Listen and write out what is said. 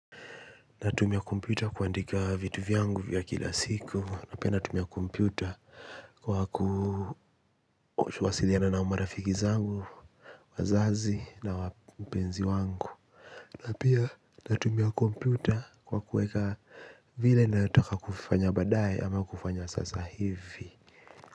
Natumia kompyuta kuandika vitu vyangu vya kila siku, na pia natumia kompyuta kwa kuwasiliana na marafiki zangu, wazazi na mpenzi wangu. Na pia natumia kompyuta kwa kueka vile nataka kufanya badae ama kufanya sasa hivi.